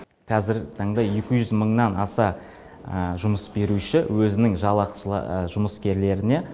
қазіргі таңда екі жүз мыңнан аса жұмыс беруші өзінің жұмыскерлеріне